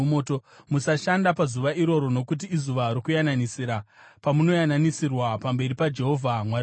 Musashanda pazuva iroro, nokuti iZuva Rokuyananisira, pamunoyananisirwa pamberi paJehovha Mwari wenyu.